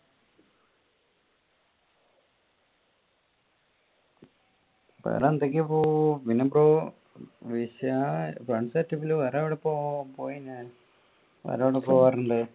വേറെ എന്തെക്യ bro പിന്നെവേറെ എവിടെ പോകാറുണ്ട്?